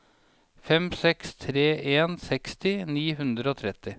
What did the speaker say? fem seks tre en seksti ni hundre og tretti